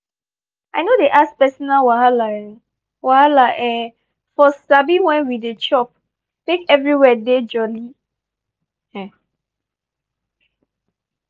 i no dey ask personal wahala um wahala um for sabi when we dey chop make everywhere dey jolly. um